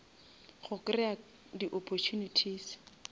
go kreya di opportunities